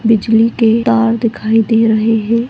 बिजली के तार दिखाई दे रहे है।